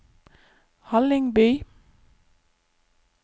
Hallingby